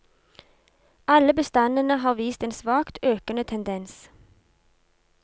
Alle bestandene har vist en svakt økende tendens.